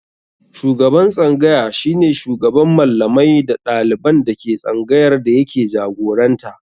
Shugaban tsangaya shi ne shugaban Mallamai da ɗaliban da ke tsangayar da yake jagoranta.